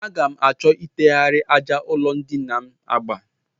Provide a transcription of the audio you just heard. Aga m achọ itegharị àjà ụlọndina m agba